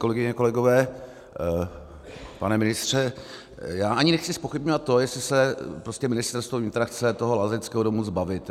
Kolegyně, kolegové, pane ministře, já ani nechci zpochybňovat to, jestli se Ministerstvo vnitra chce toho lázeňského domu zbavit.